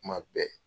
Kuma bɛɛ